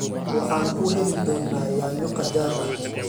Waxaan kuu heli doonaa yaanyo qajaar ah.